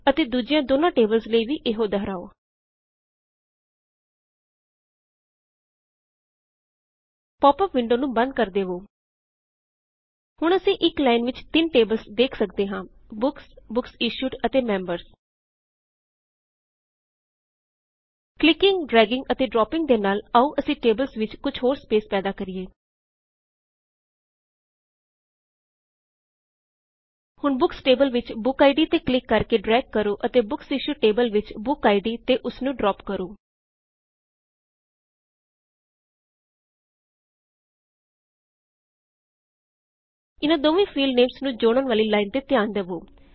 ਅਤੇ ਦੁੱਜਿਆੰ ਦੋਨੋੰ ਟੇਬਲਜ਼ ਲਈ ਵੀ ਏਹੀ ਦੌਹਰਾਓ ਪੌਪ ਅਪ ਵਿੰਡੋ ਨੂੰ ਬੰਦ ਕਰ ਦਵੋ ਹੁਣ ਅਸੀ ਇਕ ਲਾਇਨ ਵਿੱਚ ਤਿੰਨ ਟੇਬਲਜ਼ ਵੇਖ ਸਕਦੇ ਹਾੰ ਬੁਕਸ ਬੁਕਸ ਇਸ਼ੂਡ ਅਤੇ ਮੈਮਬਰਜ਼ ਕਲਿਕਿੰਗ ਡ੍ਰੈਗਿੰਗ ਅਤੇ ਡ੍ਰੌਪਿੰਗ ਦੇ ਨਾਲ ਆਓ ਅਸੀ ਟੇਬਲਜ਼ ਵਿੱਚ ਕੁਛ ਹੋਰ ਸਪੇਸ ਪੈਦਾ ਕਰਿਏ ਹੁਣ ਬੁਕਸ ਟੇਬਲ ਵਿੱਚ ਬੁਕਆਈਡੀ ਤੇ ਕਲਿਕ ਕਰਕੇ ਡ੍ਰੈਗ ਕਰੋ ਅਤੇ ਬੁਕਸਇਸ਼ੂਡ ਟੇਬਲ ਵਿੱਚ ਬੁਕਆਈਡੀ ਤੇ ਓਸਨੂੰ ਡ੍ਰੌਪ ਕਰੋ ਇੱਨ੍ਹਾ ਦੋਵੇ ਫੀਲਡਨੇਮਜ਼ ਨੂੰ ਜੋਡ਼ਨ ਵਾਲੀ ਲਾਇਨ ਤੇ ਧਿਆਨ ਦਵੋ